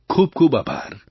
ખૂબખૂબ આભાર